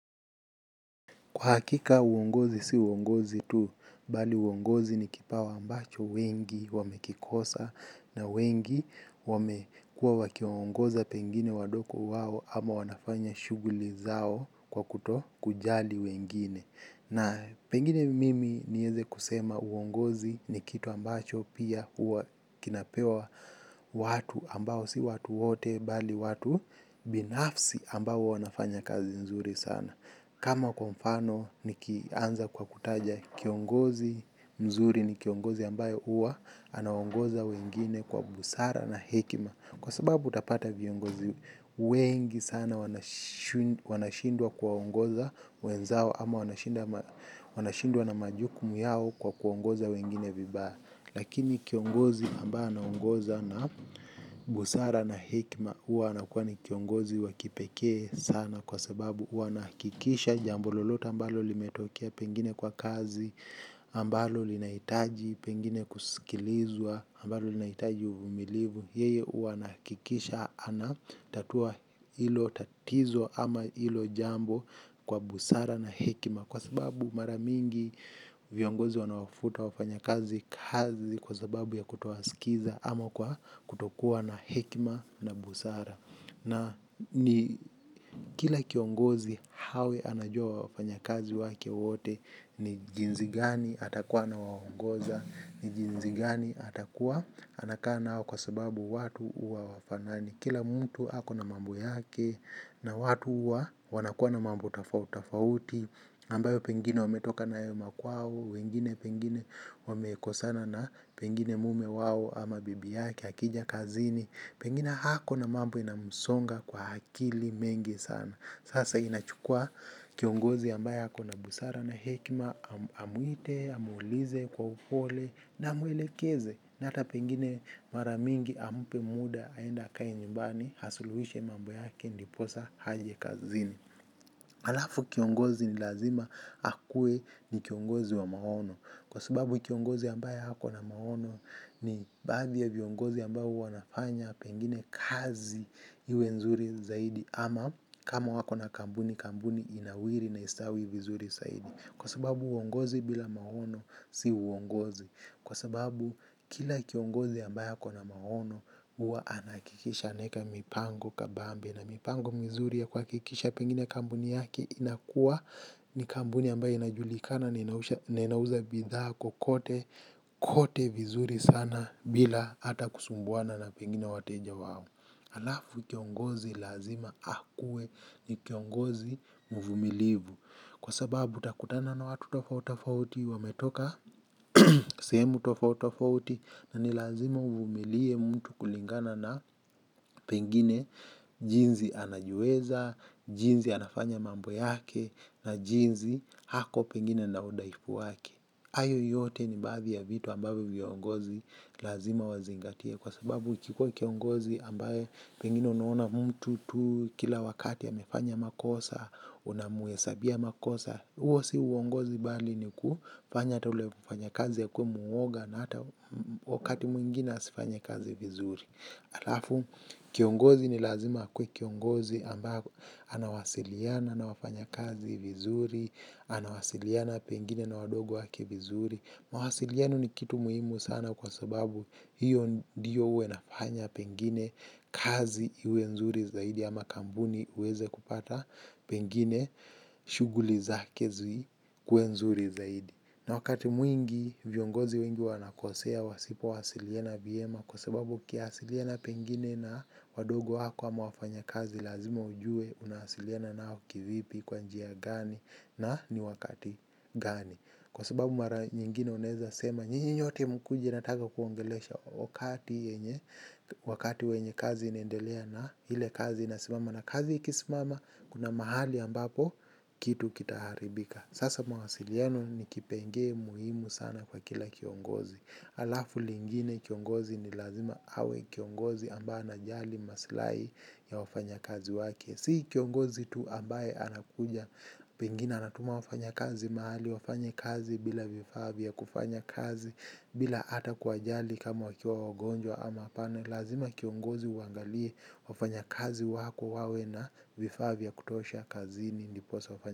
Kwa hakika uongozi si uongozi tu, bali uongozi ni kipawa ambacho wengi wamekikosa na wengi wamekua wakiongoza pengine wadogo wao ama wanafanya shuguli zao kwa kutokujali wengine. Na pengine mimi nieze kusema uongozi ni kitu ambacho pia huwa kinapewa watu ambao si watu wote bali watu binafsi ambao wanafanya kazi nzuri sana. Kama kwa mfano nikianza kwa kutaja kiongozi mzuri ni kiongozi ambayo huwa anaongoza wengine kwa busara na hekima. Kwa sababu utapata viongozi wengi sana wanashindwa kuwaongoza wenzao ama wanashindwa na majukumu yao kwa kuongoza wengine vibaya. Lakini kiongozi ambaye anaongoza na busara na hekima huwa anakuwa ni kiongozi wa kipekee sana kwa sababu huwa anakikisha jambo lolote ambalo limetokea pengine kwa kazi ambalo linahitaji pengine kusikilizwa ambalo linaitaji umilivu. Yeye huwa anahakikisha ana tatua hilo tatizo ama ilo jambo kwa busara na hekima. Kwa sababu mara mingi viongozi wanaofuta wafanyakazi kazi kwa sababu ya kutowaskiza ama kwa kutokuwa na hekima na busara na ni kila kiongozi hawe anajua wafanyakazi wake wote ni jinsi gani atakuwa anawaongoza. Ni jinsi gani atakuwa anakaa nao kwa sababu watu uwa hawafanani. Kila mtu ako na mambo yake na watu huwa wanakuwa na mambo tofauti ambayo pengine wametoka nayo makwao. Wengine pengine wamekosana na pengine mume wao ama bibi yake akija kazini pengine hako na mambo inamsonga kwa akili mengi sana. Sasa inachukua kiongozi ambayo ako na busara na hekima amuite, amuulize, kwa upole na amwelekeze na ata pengine mara mingi ampe muda, aende akae njumbani asuluhishe mambo yake, ndiposa aje kazini. Halafu kiongozi ni lazima akue ni kiongozi wa maono kwa sababu kiongozi ambaye hako na maono ni baadhi ya viongozi ambao wanafanya pengine kazi iwe nzuri zaidi ama kama wako na kampuni kampuni inawiri na istawi vizuri. Kwa sababu uongozi bila maono si uongozi. Kwa sababu kila kiongozi ambaye ako na maono huwa anahakikisha anaeka mipango kabambe na mipango mizuri ya kuhakikisha pengine kampuni yake inakua ni kampuni ambayo inajulikana na inauza bidhaa kokote kote vizuri sana bila hata kusumbuana na pengine wateja wao. Alafu kiongozi lazima akuwe ni kiongozi mvumilivu. Kwa sababu utakutana na watu tofautofauti wametoka sehemu tofauti tofauti na ni lazima uvumilie mtu kulingana na pengine jinsi anajiweza, jinsi anafanya mambo yake na jinsi ako pengine na udhaifu wake. Hayo yote ni baadhi ya vitu ambavyo viongozi lazima wazingatie kwa sababu ukikua kiongozi ambaye pengine unuona mtu tu kila wakati amefanya makosa, unamuhesabia makosa. Huo si uongozi bali ni kufanya ata ule mfanya kazi akuwe muoga na hata wakati mwingine asifanye kazi vizuri. Alafu, kiongozi ni lazima akue kiongozi ambaye anawasiliana na wafanya kazi vizuri, anawasiliana pengine na wadogo wake vizuri. Mawasiliano ni kitu muhimu sana kwa sababu hiyo ndio huwa inafanya pengine kazi iwe nzuri zaidi ama kampuni iweze kupata pengine shughuli zake zikuwe nzuri zaidi. Na wakati mwingi viongozi wengi wanakosea wasipo wasiliana vyema kwa sababu ukiwasiliana pengine na wadogo wako ama wafanya kazi lazima ujue unawasiliana nao kivipi kwa njia gani na ni wakati gani. Kwa sababu mara nyingine unaweza sema nyinyi nyote mkuje nataka kuwaongelesha wakati wenye kazi inaendelea na ile kazi inasimama na kazi ikisimama kuna mahali ambapo kitu kitaharibika. Sasa mawasiliano ni kipengele muhimu sana kwa kila kiongozi. Alafu lingine kiongozi ni lazima awe kiongozi ambaye anajali maslahi ya wafanya kazi wake, si kiongozi tu ambaye anakuja pengine anatuma wafanya kazi mahali wafanye kazi bila vifaa vya kufanya kazi, bila hata kuwajali kama wakiwa wagonjwa ama hapana. Lazima kiongozi uwaangalie wafanya kazi wako wawe na vifaa vya kutosha kazini ndiposa.